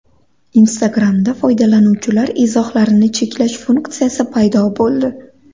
Instagram’da foydalanuvchilar izohlarini cheklash funksiyasi paydo bo‘ldi.